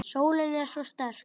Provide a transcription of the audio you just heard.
Sólin er svo sterk.